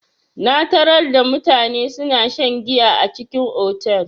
Na tarar da mutane suna shan giya a cikin otal.